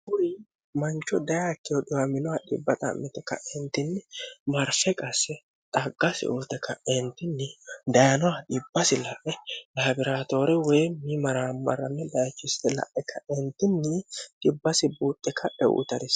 mancho dayakkeho dwminoh d'mte ka'entinni marfe qase xaggasi ute ka'eentinni dayinoha dibbasi la'e laabiraatoore woy mimaraa marami layichist la'e kaeentinni dibbasi buuxxe kahe uutare